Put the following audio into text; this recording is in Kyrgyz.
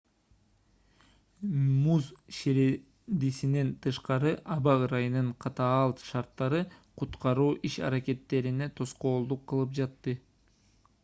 муз ширендисинен тышкары аба ырайынын катаал шарттары куткаруу иш-аракеттерине тоскоолдук кылып жатты